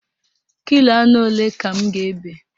Kilo anụ ole ka m ga-ebe?